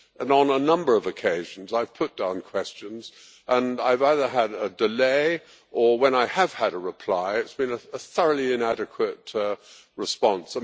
On a number of occasions I have put down questions and I have either had a delay, or when I have had a reply it has been a thoroughly inadequate response.